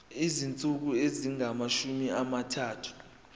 izinsuku ezingamashumi amathathu